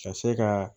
Ka se ka